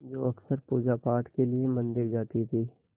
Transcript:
जो अक्सर पूजापाठ के लिए मंदिर जाती थीं